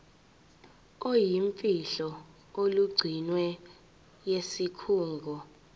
oluyimfihlo olugcinwe yisikhungo